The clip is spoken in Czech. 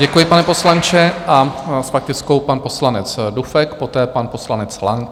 Děkuji, pane poslanče, a s faktickou pan poslanec Dufek, poté pan poslanec Lang.